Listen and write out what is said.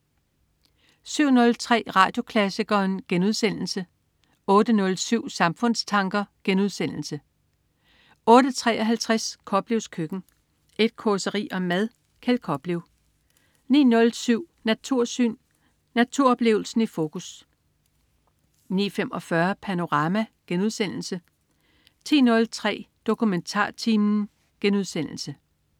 07.03 Radioklassikeren* 08.07 Samfundstanker* 08.53 Koplevs Køkken. Et causeri om mad. Kjeld Koplev 09.07 Natursyn. Naturoplevelsen i fokus 09.45 Panorama* 10.03 DokumentarTimen*